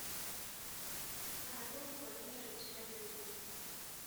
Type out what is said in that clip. анатолий владимирович разепин